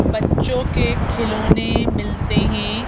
बच्चों के खिलौने मिलते हैं।